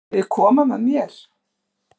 Viljiði koma með mér?